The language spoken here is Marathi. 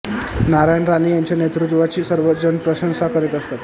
नारायण राणे यांच्या नेतृत्वाची सर्व जण प्रशंसा करीत असतात